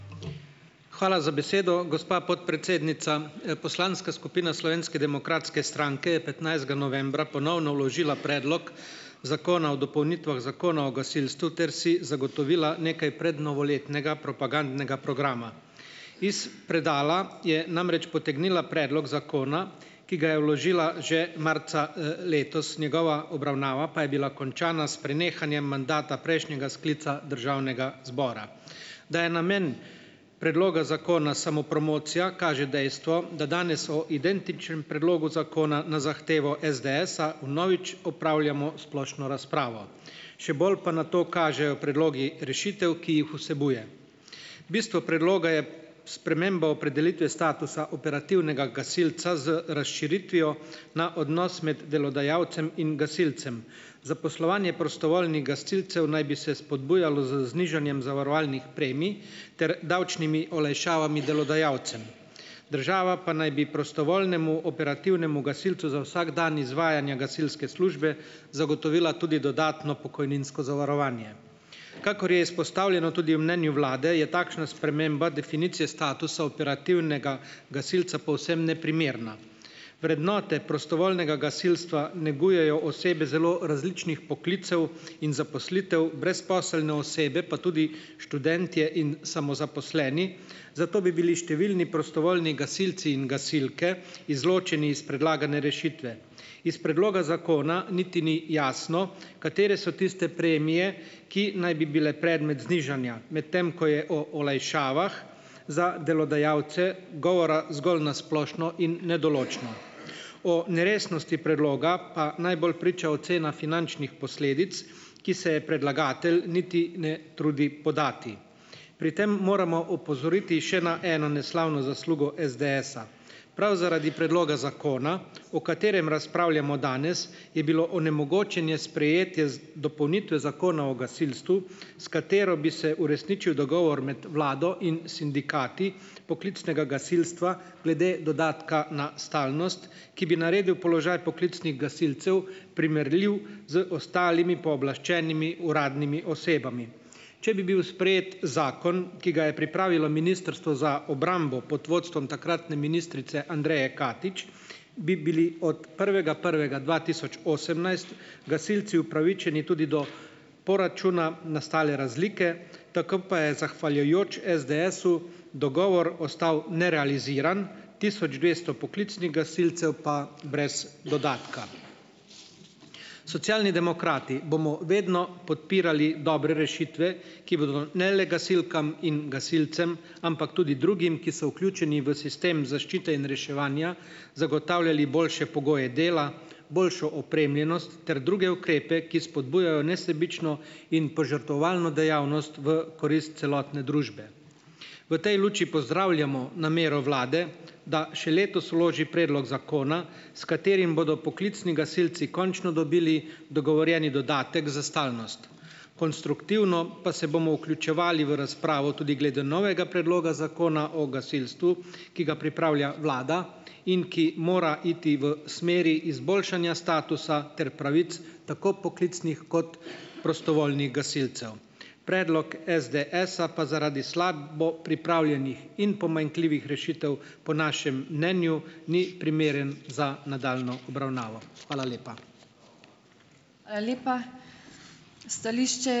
Hvala za besedo, gospa podpredsednica. Poslanska skupina Slovenske demokratske stranke je petnajstega novembra ponovno vložila Predlog zakona o dopolnitvah Zakona o gasilstvu ter si zagotovila nekaj prednovoletnega propagandnega programa. Iz predala je namreč potegnila predlog zakona, ki ga je vložila že marca, letos, njegova obravnava pa je bila končana s prenehanjem mandata prejšnjega sklica državnega zbora. Da je namen predloga zakona samopromocija, kaže dejstvo, da danes o identičnem predlogu zakona na zahtevo SDS-a vnovič opravljamo splošno razpravo. Še bolj pa na to kažejo predlogi rešitev, ki jih vsebuje. Bistvo predloga je sprememba opredelitve statusa operativnega gasilca z razširitvijo na odnos med delodajalcem in gasilcem. Zaposlovanje prostovoljnih gasilcev naj bi se spodbujalo z znižanjem zavarovalnih premij ter davčnimi olajšavami delodajalcem. Država pa naj bi prostovoljnemu operativnemu gasilcu za vsak dan izvajanja gasilske službe zagotovila tudi dodatno pokojninsko zavarovanje. Kakor je izpostavljeno tudi v mnenju vlade, je takšna sprememba definicije statusa operativnega gasilca povsem neprimerna. Vrednote prostovoljnega gasilstva negujejo osebe zelo različnih poklicev in zaposlitev, brezposelne osebe pa tudi študentje in samozaposleni, zato bi bili številni prostovoljni gasilci in gasilke izločeni iz predlagane rešitve. Iz predloga zakona niti ni jasno, katere so tiste premije, ki naj bi bile predmet znižanja, medtem ko je o olajšavah za delodajalce govora zgolj na splošno in nedoločno. O neresnosti predloga pa najbolj priča ocena finančnih posledic, ki se je predlagatelj niti ne trudi podati. Pri tem moramo opozoriti še na eno neslavno zaslugo SDS-a. Prav zaradi predloga zakona, o katerem razpravljamo danes, je bilo onemogočenje sprejetje dopolnitve Zakona o gasilstvu, s katero bi se uresničil dogovor med vlado in sindikati poklicnega gasilstva glede dodatka na stalnost, ki bi naredil položaj poklicnih gasilcev primerljiv z ostalimi pooblaščenimi uradnimi osebami. Če bi bil sprejet zakon, ki ga je pripravilo Ministrstvo za obrambo, pod vodstvom takratne ministrice Andreje Katič, bi bili od prvega prvega dva tisoč osemnajst gasilci upravičeni tudi do poračuna nastale razlike, tako pa je zahvaljujoč SDS-su, dogovor ostal nerealiziran, tisoč dvesto poklicnih gasilcev pa brez dodatka. Socialni demokrati bomo vedno podpirali dobre rešitve, ki bodo ne le gasilkam in gasilcem, ampak tudi drugim, ki so vključeni v sistem zaščite in reševanja, zagotavljali boljše pogoje dela, boljšo opremljenost ter druge ukrepe, ki spodbujajo nesebično in požrtvovalno dejavnost v korist celotne družbe. V tej luči pozdravljamo namero vlade, da še letos vloži predlog zakona, s katerim bodo poklicni gasilci končno dobili dogovorjeni dodatek za stalnost, konstruktivno pa se bomo vključevali v razpravo tudi glede novega predloga Zakona o gasilstvu, ki ga pripravlja vlada in ki mora iti v smeri izboljšanja statusa ter pravic, tako poklicnih kot prostovoljnih gasilcev. Predlog SDS-a pa zaradi slabo pripravljenih in pomanjkljivih rešitev, po našem mnenju, ni primeren za nadaljnjo obravnavo. Hvala lepa.